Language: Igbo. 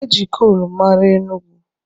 E ji kolu mara Enugu